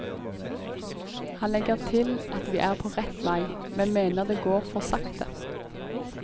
Han legger til at vi er på rett vei, men mener det går for sakte.